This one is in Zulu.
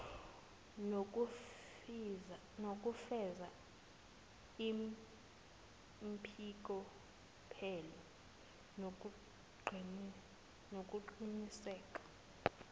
nokufeza impokophelelo nokuqiniseka